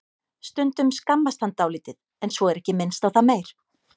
Stundum skammast hann dálítið en svo er ekki minnst á það meir.